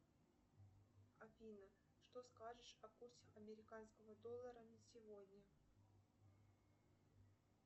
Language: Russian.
афина что скажешь о курсе американского доллара на сегодня